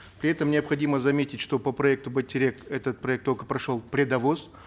при этом необходимо заметить что по проекту байтерек этот проект только прошел предовос